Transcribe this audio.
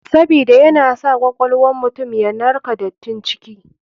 Sabida yana sa kwakwal wan mutum yanarka datin ciki.